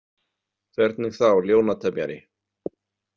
Hvernig þá ljónatemjari?